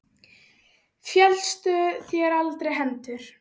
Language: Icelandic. Féllust þér aldrei hendur?